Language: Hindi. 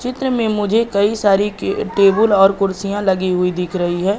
चित्र में मुझे कई सारी कि टेबल और कुर्सियां लगी हुई दिख रही है।